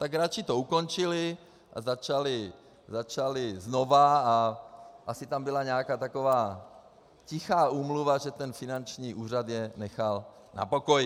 Tak radši to ukončili a začali znova a asi tam byla nějaká taková tichá úmluva, že ten finanční úřad je nechal na pokoji.